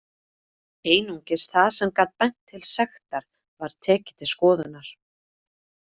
Einungis það sem gat bent til sektar var tekið til skoðunar.